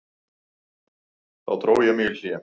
Þá dró ég mig í hlé.